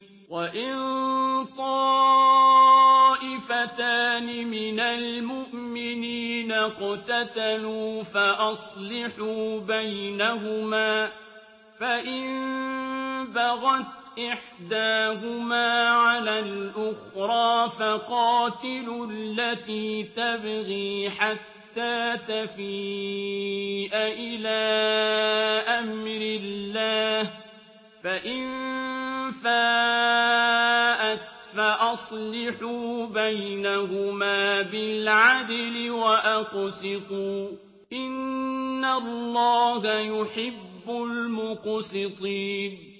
وَإِن طَائِفَتَانِ مِنَ الْمُؤْمِنِينَ اقْتَتَلُوا فَأَصْلِحُوا بَيْنَهُمَا ۖ فَإِن بَغَتْ إِحْدَاهُمَا عَلَى الْأُخْرَىٰ فَقَاتِلُوا الَّتِي تَبْغِي حَتَّىٰ تَفِيءَ إِلَىٰ أَمْرِ اللَّهِ ۚ فَإِن فَاءَتْ فَأَصْلِحُوا بَيْنَهُمَا بِالْعَدْلِ وَأَقْسِطُوا ۖ إِنَّ اللَّهَ يُحِبُّ الْمُقْسِطِينَ